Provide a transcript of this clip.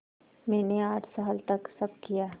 मैंने आठ साल तक सब किया